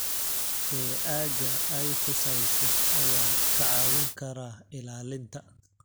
ee aagga ay khusayso ayaa kaa caawin kara ilaalinta.